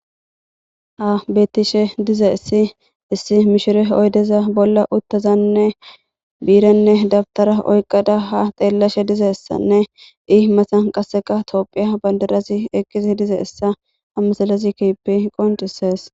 ha beettishe dize issi issi mishire oydeza bolla uttazanne biirenne dabtara oyqada ha xeellashe dize essanne i masan qasseka toophiya bandarasi eqqisi dize issa hamasalazikipi qoncisees